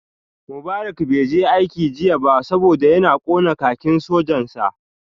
Mubarak bai je aiki jiya ba saboda ya kona kakin sojan sa